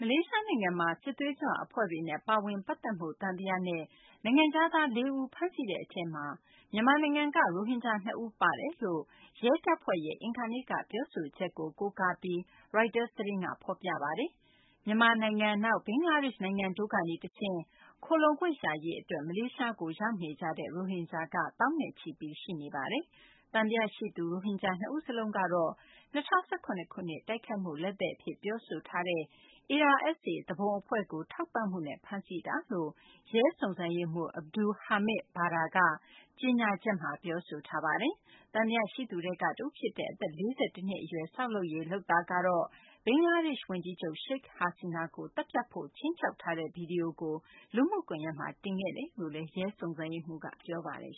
လေးရှားနိုင်ငံမှာ စစ်သွေးကြွ အဖွဲ့တွေနဲ့ ပါဝင် ပတ်သက်မှု သံသယနဲ့ နိုင်ငံခြားသား ၄ ဦး ဖမ်းဆီးတဲ့ အထဲမှာ မြန်မာနိုင်ငံက ရိုဟင်ဂျာ နှစ်ဦးပါဝင်တယ်လို့ ရဲတပ်ဖွဲ့ရဲ့ အင်္ဂါနေ့က ပြောဆိုချက်ကို ကိုးကားပြီး ရိုက်တာ သတင်းက ဖော်ပြပါတယ်။ မြန်မာနိုင်ငံ၊ နောက် ဘင်္ဂလားဒေရှ့် နိုင်ငံတို့ကနေတဆင့် ခိုလှုံခွင့်ရရေး အတွက် မလေးရှားကို ရောက်ရှိနေကြတဲ့ ရိုဟင်ဂျာက သောင်းချီ ရှိနေတာပါ။ သံသယ ရှိသူ ရိုဟင်ဂျာ ၂ ဦးစလုံး ကတော့ ၂၀၁၇ ခုနှစ် တိုက်ခိုက်မှု လက်သည်အဖြစ် ပြောဆိုထားတဲ့ ARSA သူပုန် အဖွဲ့ကို ထောက်ပံ့မှုနဲ့ ဖမ်းဆီးတာလို့ ရဲစုံစမ်းရေးမှူး Abdul Hamid Bador က ကြေညာချက်မှာ ပြောဆိုထားပါတယ်။ သံသယရှိသူထဲက တဦးဖြစ်တဲ့ အသက် ၄၁ နှစ် အရွယ် ဆောက်လုပ်ရေး လုပ်သားကတော့ ဘင်္ဂလားဒေရှ့် ဝန်ကြီးချုပ် Sheikh Hasina ကို သတ်ဖြတ်ဖို့ ခြိမ်းခြောက်ထားတဲ့ ဗွီဒီယိုကို လူမှုကွန်ယက်မှာ တင်ခဲ့တယ်လို့လည်း ရဲစုံစမ်းရေးမှူးက ပြောပါတယ်